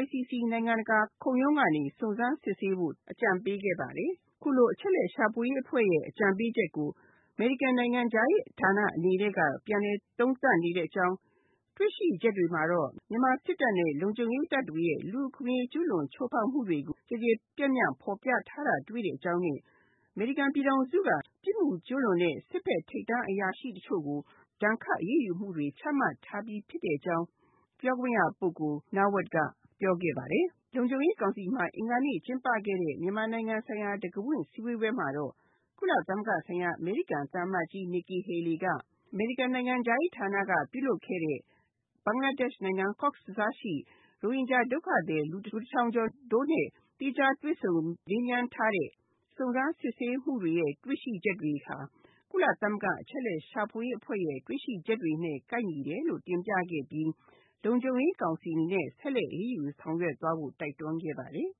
ICC နိုင်ငံတကာခုံရုံးကနေ စုံစမ်းစစ်ဆေးဖို့ အကြံပေးခဲ့ပါတယ်။ အခုလိုအချက်အလက်ရှာဖွေရေးအဖွဲ့ရဲ့ အကြံပေးချက်ကို အမေရိကန်နိုင်ငံခြားရေးဌာနအနေနဲ့က ပြန်လည်သုံးသပ်နေတဲ့အကြောင်း တွေ့ရှိချက်တွေမှာတော့ မြန်မာစစ်တပ်နဲ့ လုံခြုံရေးတပ်တွေရဲ့ လူ့အခွင့်အရေးကျူးလွန်ချိုးဖောက်မှု ကျယ်ကျယ်ပြန့်ပြန်ဖော်ပြထားတာတွေ့ရတဲ့အကြောင်းနဲ့ အမေရိကန်ပြည်ထောင်စုက ပြစ်မှုကျူးလွန်တဲ့ စစ်ဖက်ဆိုင်ရာထိပ်တန်းအရာရှိတချို့ကို ဒဏ်ခတ်အရေးယူမှုတွေ ချမှတ်ထားပြီးဖြစ်တဲ့အကြောင်း Heather Nauert ကပြောသွားတာဖြစ်ပါတယ်။ လုံခြုံရေးကောင်စီမှာ အင်္ဂါနေ့က ကျင်းပခဲ့တဲ့ မြန်မာနိုင်ငံဆိုင်ရာ တံခါးဖွင့်ဆွေးနွေးပွဲမှာလည်း ကုလဆိုင်ရာ အမေရိကန်သံအမတ်ကြီး Nikki Haleyက အမေရိကန်နိုင်ငံခြားရေးဌာနကပြုလုပ်ခဲ့တဲ့ ဘင်္ဂလားဒေ့ရှ်နိုင်ငံ Cox’s Bazar ရှိ ရိုဟင်ျဂျာ ဒုက္ခသည် လူ၁ ထောင်တို့နဲ့ သီးခြားတွေ့ဆုံမေးမြန်းထားတဲ့ စုံစမ်းစစ်ဆေးရေးမှူးတွေရဲ့ တွေ့ရှိချက်တွေဟာ ကုလသမဂ္ဂအချက်အလက်ရှာဖွေရေးအဖွဲ့ရဲ့ တွေ့ရှိချက်တွေနဲ့ ကိုက်ညီတယ်လို့ တင်ပြခဲ့ပြီး လုံခြုံရေးကောင်စီအနေနဲ့ ဆက်ပြီးတော့ အရေးယူဆောင်ရွက်ဖို့ တိုက်တွန်းခဲ့ပါတယ်။